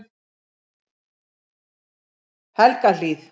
Helgahlíð